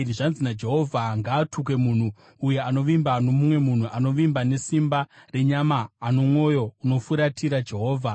Zvanzi naJehovha: “Ngaatukwe munhu uyo anovimba nomumwe munhu, anovimba nesimba renyama ano mwoyo unofuratira Jehovha.